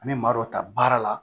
An bɛ maa dɔ ta baara la